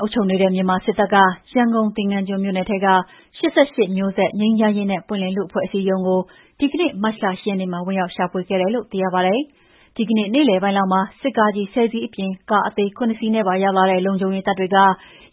အုပ်ချုပ်နေတဲ့ မြန်မာစစ်တပ်က ရန်ကုန် သင်္ဃန်းကျွန်းမြို့နယ်ထဲက ၈၈ မျိုးဆက်၊ ငြိမ်းချမ်းရေးနဲ့ ပွင့်လင်းလူ့အဖွဲ့အစည်းရုံးကို ဒီကနေ့ မတ်လ ၈ ရက်နေ့မှာ ဝင်ရောက်ရှာဖွေခဲ့တယ်လို့ သိရပါတယ်။ ဒီကနေ့ နေ့လယ်ပိုင်းလောက်မှာ စစ်ကားကြီး ၁၀ စီးအပြင် ကားအသေး ၇ စီးနဲ့ပါ ရောက်လာတဲ့ လုံခြုံရေးတပ်တွေက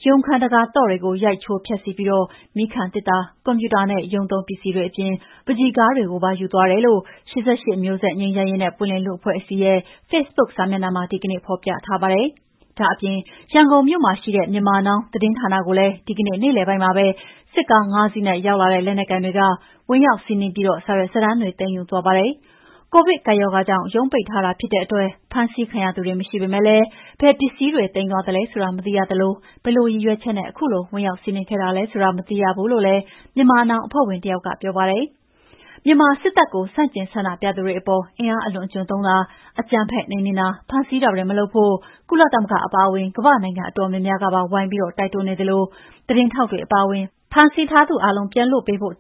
ရုံးခန်းတံခါးသော့တွေကို ရိုက်ချိုးဖျက်ဆီးပြီး မီးခံသေတ္တာ၊ ကွန်ပျူတာနဲ့ ရုံးသုံးပစ္စည်းတွေအပြင် ပန်းချီကားတွေကိုပါ ယူသွားတယ်လို့ ၈၈ မျိုးဆက်၊ ငြိမ်းချမ်းရေးနဲ့ ပွင့်လင်းလူ့အဖွဲ့အစည်းရဲ့ဖေ့ဘုတ်စာမျက်နှာမှာ ဒီကနေ့ ဖော်ပြထားပါတယ်။ ဒါ့အပြင် ရန်ကုန်မြို့မှာရှိတဲ့ Myanmar Now သတင်းဌာနကိုလည်း ဒီကနေ့နေ့လယ်ပိုင်းမှာပဲ စစ်ကား ၅ စီးနဲ့ ရောက်လာတဲ့ လက်နက်ကိုင်တွေက ဝင်ရောက်စီးနင်းပြီး စာရွက်စာတမ်းတွေက သိမ်းယူသွားပါတယ်။ ကိုဗစ်ကပ်ရောဂါကြောင့် ရုံးပိတ်ထားတာဖြစ်တဲ့အတွက် ဖမ်းဆီးခံရသူတွေမရှိပေမဲ့ ဘယ်ပစ္စည်တွေ သိမ်းသွားသလဲဆိုတာ မသိရသလို ဘယ်လိုရည်ရွယ်ချက်နဲ့ ခုလို ဝင်ရောက်စီးနင်းခဲ့တာလဲဆိုတာ မသိရဘူးလို့လည်း Myanmar Now အဖွဲ့ဝင်တယောက်ကပြောပါတယ်။ မြန်မာစစ်တပ်ကို ဆန့်ကျင်ဆန္ဒပြသူတွေအပေါ် အင်အားအလွန်အကျွံသုံးတာ၊ အကြမ်းဖက် နှိမ်နင်းတာ၊ ဖမ်းဆီးတာတွေမလုပ်ဖို့ ကုလသမဂ္ဂအပါအဝင် ကမ္ဘာ့နိုင်ငံအတော်များများကပါ ဝိုင်ပြီးတိုက်တွန်းနေသလို၊ သတင်းထောက်တွေအပါအဝင် ဖမ်းဆီးထားသာအားလုံး ပြန်လွတ်ပေးဖို့၊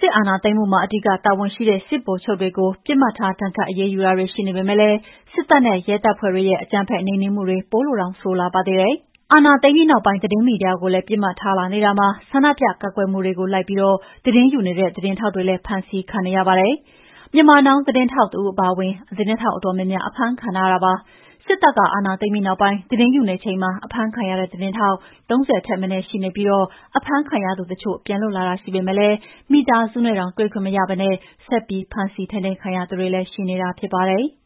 စစ်အာဏာသိမ်းမှုမှာ အဓိကတာဝန်ရှိတဲ့ စစ်ဗိုလ်ချုပ်တွေကို ပစ်မှတ်ထားဒဏ်ခတ် အရေးယူတာတွေ ရှိနေပေမဲ့လည်း စစ်တပ်နဲ့ ရဲတပ်ဖွဲ့တွေရဲ့အကြမ်းဖက်နှိမ်နင်းမှုတွေ ပိုလို့တောင်ဆိုးလာပါတယ်။ အာဏာသိမ်းပြီးနောက်ပိုင်း သတင်းမီဒီယာတွေကိုလည်း ပစ်မှတ်ထားလာနေတာမှာ ဆန္ဒပြကန့်ကွက်မှုတွေကို လိုက်ပြီး သတင်းယူတဲ့ သတင်းထောက်တွေကိုလည်း ဖမ်းဆီးခံနေရပါတယ်။ Myanmar Now သတင်းထောက်တဦးအပါအဝင် သတင်းထောက်အတော်များများ အဖမ်းခံထားရတာပါ။ စစ်တပ်က အာဏာသိမ်းပြီးနောက်ပိုင်း သတင်းယူနေချိန်မှာ အဖမ်းခံရတဲ့ သတင်းထောက် ၃၀ ထက်မနည်း ရှိနေပြီး အဖမ်းခံရသူတချို့ပြန်လွှတ်လာတာရှိပေမဲ့ မိသားစုနဲ့တောင်တွေ့ခွင့်မရဘဲ ဆက်ပြီး ထိန်းသိမ်းခံထားရသူတွေလည်းရှိနေတာဖြစ်ပါတယ်။